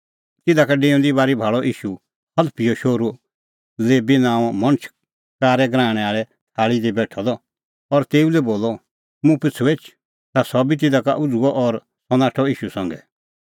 तिधा का डेऊंदी बारी भाल़अ ईशू हलफीओ शोहरू लेबी नांओं मणछ कारै गराहणें थल़्ही दी बेठअ द और तेऊ लै बोलअ मुंह पिछ़ू एछ ता सह बी तिधा का उझ़ुअ और सह नाठअ ईशू संघै